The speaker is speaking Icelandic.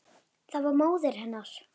Það var móðir hennar.